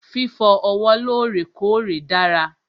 Fífọ ọwọ́ lọ́rèkọ́ọ̀rè dára.